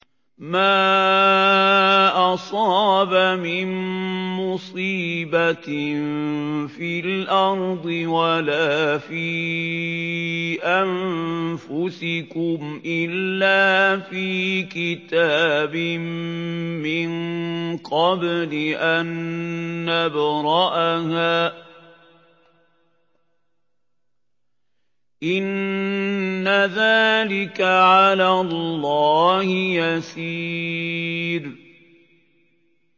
مَا أَصَابَ مِن مُّصِيبَةٍ فِي الْأَرْضِ وَلَا فِي أَنفُسِكُمْ إِلَّا فِي كِتَابٍ مِّن قَبْلِ أَن نَّبْرَأَهَا ۚ إِنَّ ذَٰلِكَ عَلَى اللَّهِ يَسِيرٌ